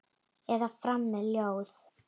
Eða fara með ljóð.